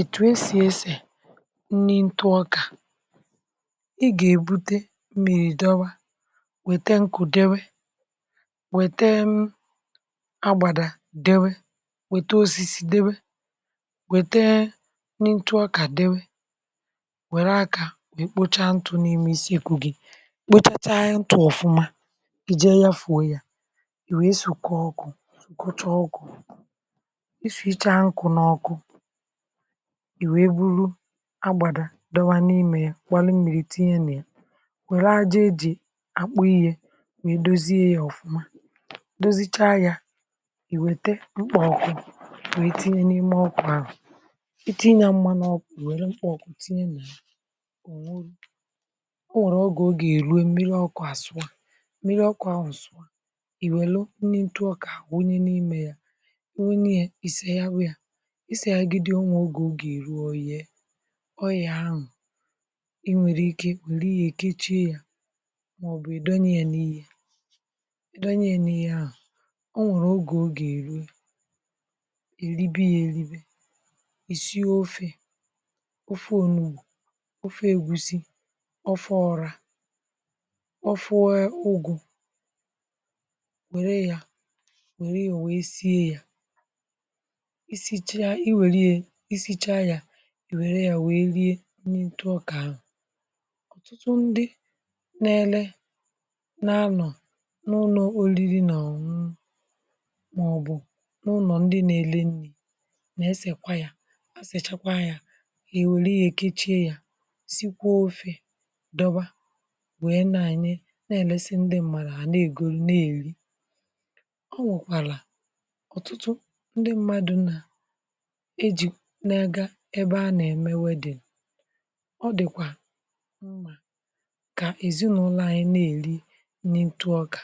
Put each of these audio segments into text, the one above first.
ètù esì esè nni ntụ ọkà, ị gà-èbute mmiri dọwa wète nkù dewe wètee um agbàrà dewe wète osisi dewe wètee nni ntu ọkà dewe wère akȧ wèkpocha ntù n’ime isiekwu̇ gị kpochacha ntu̇ ọ̀fuma ije yafuo ya iwèe so kwa ọkụ̇, kụcha ọkụ̇ ị shwị ichȧ nkụ̀ n’ọkụ i wee buru agbàrà dọwa n’imė ya gbaru mmiri tinye nà ya wère aja eji akpụ ihe nwèe dozie ya ọ̀fụma dozichaa ya ìwète mkpọọkụ wèe tinye n’ime ọkụ̇ ahụ̀ itinya mmanụ ọkụ̇ wère mkpọ̀ọkụ̀ tinye nà ònwulu. Ọ nwẹ̀rẹ̀ ọ gà o gà èrue mmiri ọkụ̇ àsụọ mmiri ọkụ̇ ahụ̀ nsụ̀ọ ị wèlu nni ntụọkà wunye n’ime ya wunye ya ìseha wa ya ị segịdo ya o nwee oge ọga eruo oyie oyie ahụ ị nwèrè ike ị welu ihe keche yȧ màọbụ̀ ị̀dọnye yȧ n’ihe ị̀dọ nye yȧ n’ihe ahụ̀ ọ nwèrè ogè ọ ga eru eribe yȧ eribe. I sie ofė, ofe onugò, ofe ègusi, ofe ọrȧ, ofe ụgụ̀ wère yȧ wère yȧ wèe sie yȧ ị sịcha ị sịcha ya ị wère yȧ wee rie nni ntu ọkà ahụ. Ọtụtụ ndị na-ele na anọ̀ n’ụlọ̀ orịrị nà ọ̀ ṅụṅụ màọbụ̀ n’ụnọ̀ ndị nà-ele nni̇ nà esìkwa yȧ asị̀chakwa yȧ hà èwère ya ekechie yȧ sikwa ofė dọba wee na-enyẹ na-elesị ndị mmadụ ha na ègòlu na-èri. Ọ nwèkwàlà ọ̀tụtụ ndị mmadu̇ nà eji ya n’aga ebe a nà-èmewe wedding ọ dị̀kwà mmà kà èzinụlọ̇ anyi nà-èri nrị ǹtụ ọkà.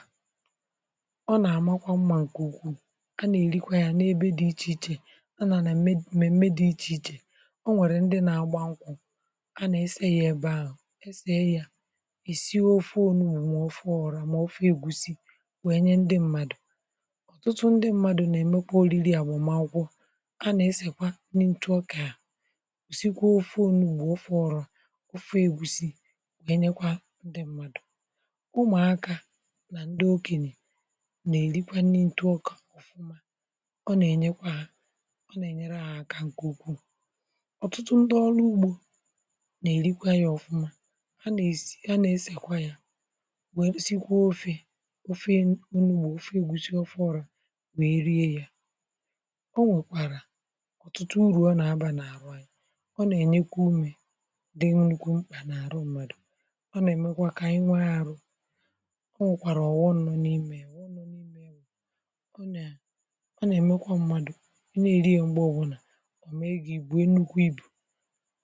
Ọ nà-àmakwa mmȧ ǹkè ukwuù,a nà-èrikwa ya nà-ebe dị̇ ichè ichè a nà ème mmeme dị̇ ichè ichè. O nwèrè ndị nà-agba nkwụ̇ a nà-ese ya ebe ahụ̀ esè ya esii ofe onugbụ, ọ̀fe ọra mà ofe egwusi wèe nye ndị mmadụ̀. Ọtụtụ ndị mmadụ̀ nà-èmekwa oriri a gbàm akwụkwọ a na-esekwa nri ntụ ọka, sikwa ofe onugbu, maọ ofe ọra, ofe ègusi wee nyekwa ndị mmadụ̀. Umụ̀akȧ nà ndị okènye nà-èrikwanye nri ǹtụọka ọ na enyekwa ha ọ na enyere ha aka nke ụkwụ. Ọtụtụ ndị̀ ọlụ ugbȯ nà-èrikwa ya ọfụma ha nà-èsi ha nà-esèkwa yȧ wee nà-èsikwa ofe, ofe onugbu, ofe ègusi, ofe ọra wee rie yȧ. O nwèkwàrà ọtụtụ ụrụ ọ na-aba na ahụ anyị,ọ nà-ènyekwa umė dị nnukwu mkpà n’àhụ ṁmȧdụ̀ ọ nà-èmekwa kà ànyi nwe ahụ̇. O nwèkwàrà ọ̀ghụm n’imė ọ nọ̀ n’imė ọ nà-èmekwa ṁmȧdụ̀ i n'èri ya ṁgbe ọ̀bụlà ọ mee gị ìbùe nnukwu ibù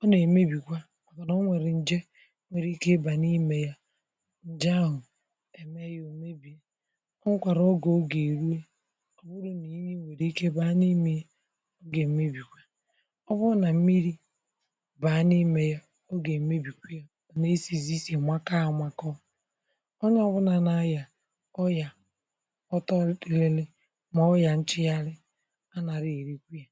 ọ nà-èmebìkwa ma na ọ nwere nje nwere ike nje ahụ onwekwara oge ọ ga eru ọbụrụ na mmiri nwere ike baa n'ime yá ọ ga emebikwa. Ọ bụrụ na mmiri baa n'ime yá ọ ga emebikwa yá n'esizi ịsị makụọ amakụọ. Onye ọbụna na-aya ọrịa ọtọlilili ọrịa nchiari anaghị erikwa yá.